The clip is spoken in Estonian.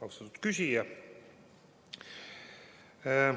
Austatud küsija!